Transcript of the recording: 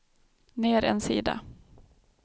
ner en sida